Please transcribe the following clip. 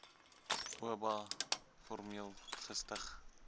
oba formeel gestig